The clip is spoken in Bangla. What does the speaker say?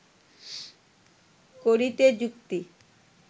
করিতে যুকতি